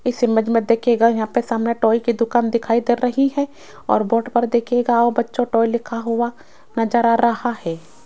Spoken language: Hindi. इस इमेज में देखिएगा यहां पे सामने टॉय की दुकान दिखाई दे रही है और बोर्ड पर देखिएगा आओ बच्चों टॉय लिखा हुआ नज़र आ रहा है।